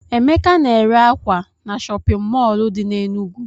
Emeka na-ere ákwà na chọpịn mọọlụ dị n'Enugwu.